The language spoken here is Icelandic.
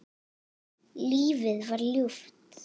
Lífið var ljúft.